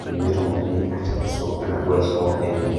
netumokini atekesi enaduo aisho enye.